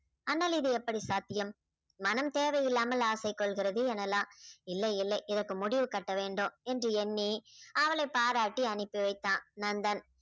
ஆனால் இது எப்படி சாத்தியம் மனம் தேவையில்லாமல் ஆசை கொள்ளுகிறது எனலாம். இல்லை இல்லை இதுக்கு முடிவு கட்ட வேண்டும் என்று எண்ணி அவளை பாராட்டி அனுப்பிவைத்தான் நந்தன்